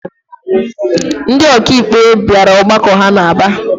Ndị ọkàikpe bịara ọgbakọ ha n'Aba